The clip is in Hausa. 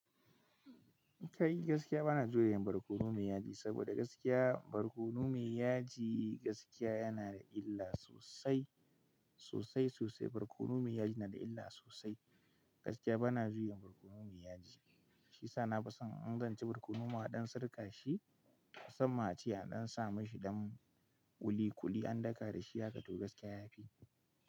Kai gaskiya bana joyin barkono mai yaji, saboda gaskiya barkono mai yaji gaskiya yana da illa sosai, sosai sosai barkono mai yaji yana da illa sosai. Gaskiya bana joyin barkono mai yaji. Shi sa na fi son in zanci barkono ma a ɗan sarƙa shi, san ma ciya ɗan sa mashi dan kuli kuli an daka da shi haka toh gaskiya yafi.